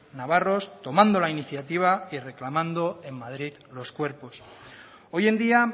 navarros tomando la iniciativa y reclamando en madrid los cuerpos hoy en día